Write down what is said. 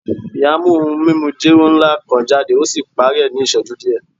Iya mu ohun mimu jero nla kan jade o si pari ni iṣẹju diẹ